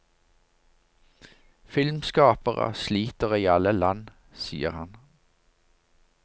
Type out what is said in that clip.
Filmskapere sliter i alle land, sier han.